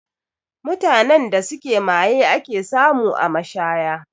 Mutanen da suke maye ake samu a mashaya